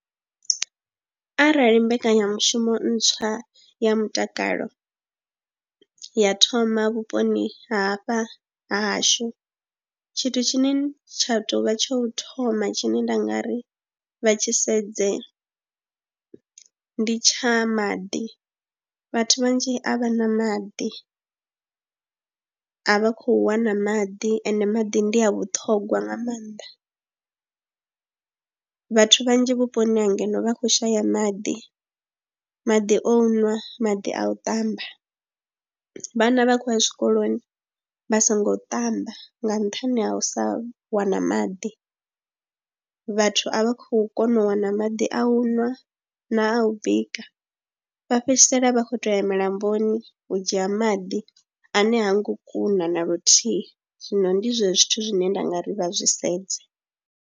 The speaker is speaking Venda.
Arali mbekanyamushumo ntswa ya mutakalo ya thoma vhuponi hafha ha hashu tshithu tshine tsha tou vha tsha u thoma tshine nda nga ri vha tshi sedze ndi tsha maḓi, vhathu vhanzhi a vha na maḓi a vha khou wana maḓi ende maḓi ndi a vhuṱhongwa nga maanḓa. Vhathu vhanzhi vhuponi ha ngeno vha khou shaya maḓi maḓi, o nwa maḓi a u ṱamba. Vhana vha khou ya tshikoloni vha songo ṱamba nga nṱhani ha u sa wana maḓi, vhathu a vha khou kona u wana maḓi a u ṅwa na a u bika vha fhedzisela vha khou tou ya milamboni u dzhia maḓi ane ha ngo kuna na luthihi, zwino ndi zwezwo zwithu zwine nda nga ri vha zwi sedze.